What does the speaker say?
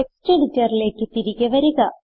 text എഡിറ്ററിലേക്ക് തിരികെ വരിക